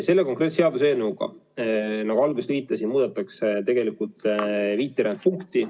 Selle konkreetse seaduseelnõuga, nagu alguses viitasin, muudetakse tegelikult viit punkti.